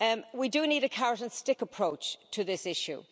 We do need a carrot and stick approach to this issue.